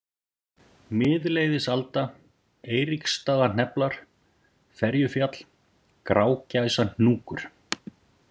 Miðleiðisalda, Eiríksstaðahneflar, Ferjufjall, Grágæsahnjúkur